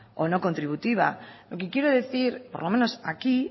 o no contributiva lo que quiero decir por lo menos aquí